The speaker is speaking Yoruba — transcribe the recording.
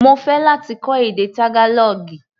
Mo fẹ́ láti kọ́ èdè Tágálọ́ọ̀gì.